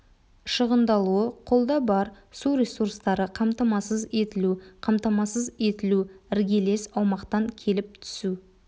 шығындалуы қолда бар су ресурстары қамтамасыз етілу қамтамасыз етілу іргелес аумақтан келіп түсу